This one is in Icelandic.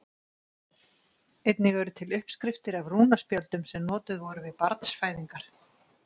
Einnig eru til uppskriftir af rúnaspjöldum sem notuð voru við barnsfæðingar.